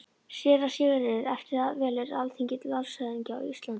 SÉRA SIGURÐUR: Eftir það velur Alþingi landshöfðingja á Íslandi.